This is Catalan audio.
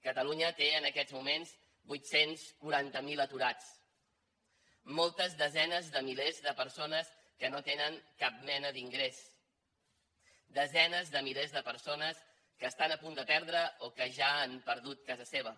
catalunya té en aquests moments vuit cents i quaranta miler aturats moltes desenes de milers de persones que no tenen cap mena d’ingrés desenes de milers de persones que estan a punt de perdre o que ja l’han perduda casa seva